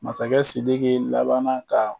Masakɛ Sidiki laban ka